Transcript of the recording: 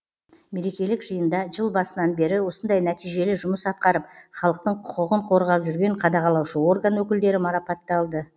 мерекелік жиында жыл басынан бері осындай нәтижелі жұмыс атқарып халықтың құқығын қорғап жүрген қадағалаушы орган өкілдері марапатталды